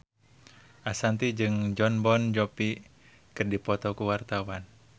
Ashanti jeung Jon Bon Jovi keur dipoto ku wartawan